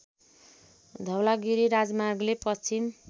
धवलागिरी राजमार्गले पश्चिम